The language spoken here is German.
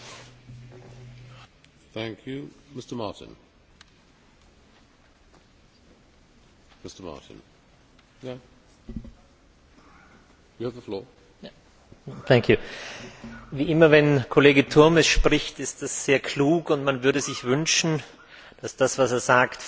Herr Präsident! Wie immer, wenn Kollege Turmes spricht, ist es sehr klug, und man würde sich wünschen, dass das, was er sagt, viel mehr Einfluss hätte auf die europäische Politik.